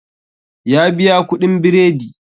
Ya biya kuɗin biredi